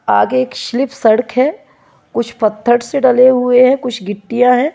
आगे एक स्लिप सड़क है कुछ पत्थर से डले हुए है कुछ गिट्टिया है।